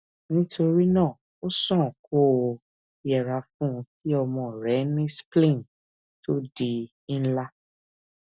nítorí náà ó sàn kó o yẹra fún kí ọmọ rẹ ní spleen to di ńlá